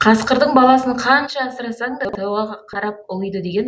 қасқырдың баласын қанша асырасаң да тауға қарап ұлиды деген